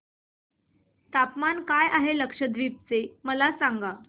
तापमान काय आहे लक्षद्वीप चे मला सांगा